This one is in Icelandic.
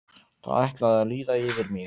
Það ætlaði að líða yfir mig.